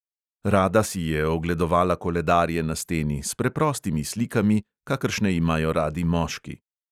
Rada si je ogledovala koledarje na steni, s preprostimi slikami, kakršne imajo radi moški.